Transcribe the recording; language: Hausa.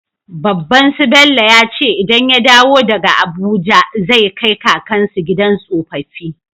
Babban su Bello yace idan ya dawo daka abuja zai kai kakan su gidan tsofafi